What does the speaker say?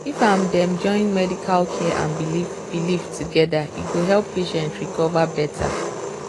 if um dem join medical care and belief belief together e go help patient recover better.